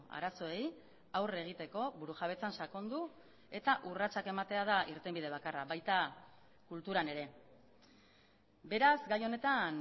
arazoei aurre egiteko burujabetzan sakondu eta urratsak ematea da irtenbide bakarra baita kulturan ere beraz gai honetan